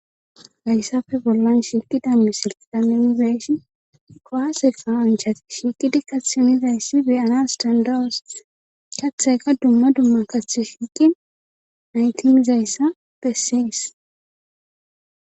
gayssafe bollan shilqi dammi silqqaminizeshi koasefa anchati shiiqidi kathimizayssi beyana standars katheyka dumma dumma kaththi shiiqi naytimizayssa pessees